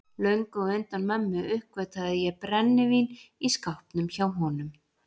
Löngu á undan mömmu uppgötvaði ég brennivín í skápnum hjá honum.